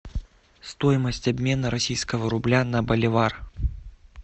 стоимость обмена российского рубля на боливар